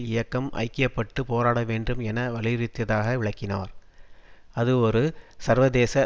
இயக்கம் ஐக்கிய பட்டு போராட வேண்டும் என வலியுறுத்தியதாக விளக்கினார் அது ஒரு சர்வதேச